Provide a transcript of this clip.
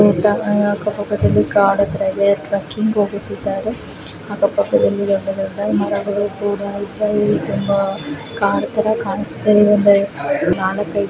ಇಲ್ಲಿ ಅಕ್ಕಪಕ್ಕದಲ್ಲಿ ಕಾಡು ತರಾ ಇದೆ ಟ್ರಕ್ಕಿಂಗ್ ಹೋಗುತ್ತಿದ್ದಾರೆ ಅಕ್ಕಪಕ್ಕದಲ್ಲಿ ತುಂಬಾ ದೊಡ್ಡದಾದ ಮರಗಳು ಕೂಡ ಇದ್ದಾವೆ ಇಲ್ಲಿ ತುಂಬಾ ಕಾಡು ತರ ಕಾಣಿಸ್ತಾ ಇದೆ